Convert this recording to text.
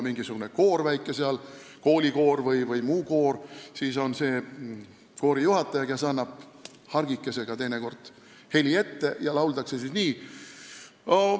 Mingisuguse väikese koori, näiteks koolikoori puhul on koorijuhataja see, kes annab teinekord hargikesega heli ette ja siis lauldaksegi nii.